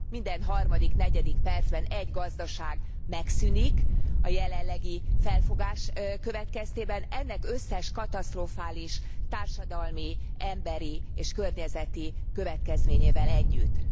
Minden harmadik, negyedik percben egy gazdaság megszűnik a jelenlegi felfogás következtében, ennek összes katasztrofális társadalmi, emberi és környezeti következményével együtt.